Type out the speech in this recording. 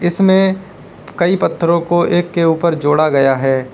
इसमें कई पत्थरों को एक के ऊपर जोड़ा गया है।